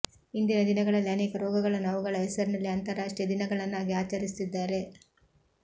ಇಂದಿನ ದಿನಗಳಲ್ಲಿ ಅನೇಕ ರೋಗಗಳನ್ನು ಅವುಗಳ ಹೆಸರಿನಲ್ಲೇ ಅಂತಾರಾಷ್ಟ್ರೀಯ ದಿನಗಳನ್ನಾಗಿ ಆಚರಿಸುತ್ತಿದ್ದಾರೆ